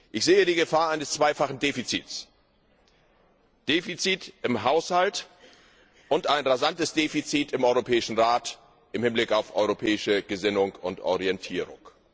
Ich sehe die Gefahr eines zweifachen Defizits Defizit im Haushalt und ein rasantes Defizit im Europäischen Rat im Hinblick auf europäische Gesinnung und Orientierung.